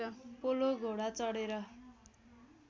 polo घोडा चढेर